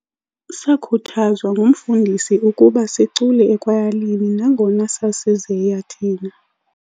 Sakhuthazwa ngumfundisi ukuba sicule ekwayalini nangona sasizeya thina.